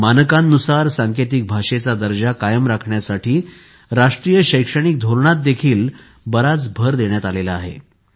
मानकांनुसार सांकेतिक भाषेचा दर्जा कायम राखण्यासाठी राष्ट्रीय शैक्षणिक धोरणातही बराच भर देण्यात आला आहे